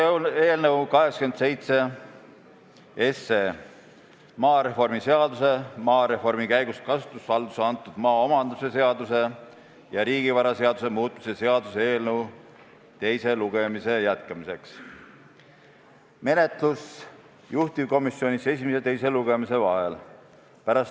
See on eelnõu 87 – maareformi seaduse, maareformi käigus kasutusvaldusesse antud maa omandamise seaduse ja riigivaraseaduse muutmise seaduse eelnõu, mida komisjon arutas teise lugemise jätkamiseks.